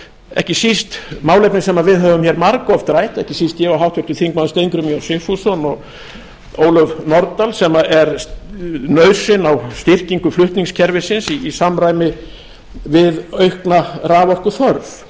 ekki síst málefni sem við höfum hér margoft rætt ekki síst ég og háttvirtur þingmaður steingrímur j sigfússon og ólöf nordal sem er nauðsyn á styrkingu flutningskerfisins í samræmi við aukna raforkuþörf